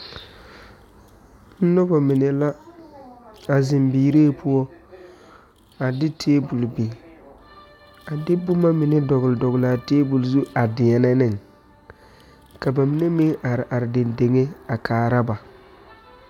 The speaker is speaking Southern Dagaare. Nobɔ mine la a zeŋ biiree poɔ a de tabole biŋ a de boma mine dɔgle dɔglaa tabol zu a deɛnɛ neŋ ka ba mine meŋ are are deŋ deŋe a kaara ba.